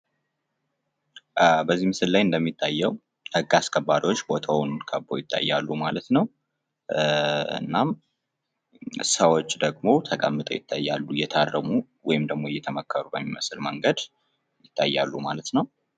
በዚህ ምስል ላይ እንደሚታየ ህግ አስከባሪዎች ቦታውን ከበው ይታያሉ ማለት ነው። እናም ሰዎች ደግሞ ተቀምጠው ይታያሉ። እየታረሙ ወይም ደግሞ እየተመከሩ በሚመስል መንገድ ይታያሉ ማለት ነው።